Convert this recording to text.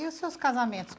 E os seus casamentos?